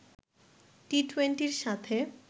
টি-টোয়েন্টির সাথে